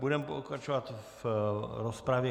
Budeme pokračovat v rozpravě.